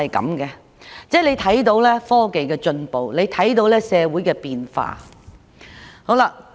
大家可以看到科技的進步及社會的變化。